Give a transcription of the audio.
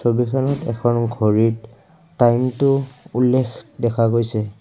ছবিখনত এখন ঘড়ীত টাইমটো উল্লেখ দেখা গৈছে।